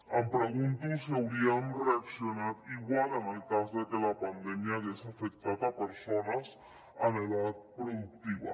em pregunto si hauríem reaccionat igual en el cas de que la pandèmia hagués afectat persones en edat productiva